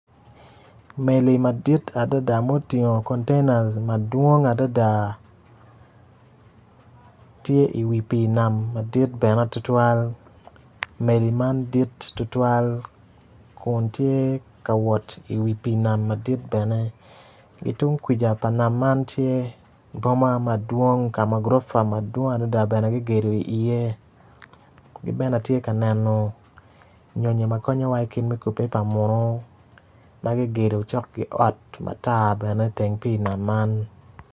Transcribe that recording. Meli madit adada ma otingo containers madwong adada tye i wi pii nam madit bene tutwal meli man dit tutwal kun tye ka wot i wi pii nam madit bene ki tukwija pa nam man tye boma madwong ma gurifa bene ki gedo iye ki bene atye ka neno nyonyo ma konyowa i kubbe pa muno ma kigedo ma cok ki ot matar i teng pii man.